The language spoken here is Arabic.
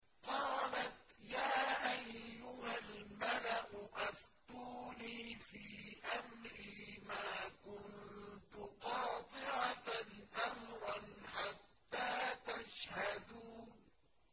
قَالَتْ يَا أَيُّهَا الْمَلَأُ أَفْتُونِي فِي أَمْرِي مَا كُنتُ قَاطِعَةً أَمْرًا حَتَّىٰ تَشْهَدُونِ